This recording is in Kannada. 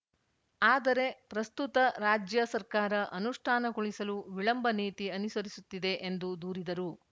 ಆದರೆ ಪ್ರಸ್ತುತ ರಾಜ್ಯ ಸರ್ಕಾರ ಅನುಷ್ಠಾನಗೊಳಿಸಲು ವಿಳಂಬ ನೀತಿ ಅನುಸರಿಸುತ್ತಿದೆ ಎಂದು ದೂರಿದರು